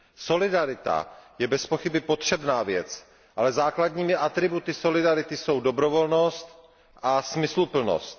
Solidarita je bezpochyby potřebná věc, ale základními atributy solidarity jsou dobrovolnost a smysluplnost.